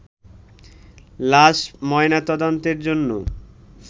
লাশ ময়নাতদন্তের জন্য